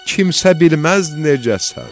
Kimsə bilməz necəsən.